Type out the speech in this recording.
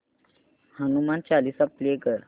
Hanuman Chalisa play कर